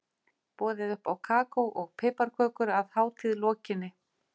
Boðið upp á kakó og piparkökur að hátíð lokinni.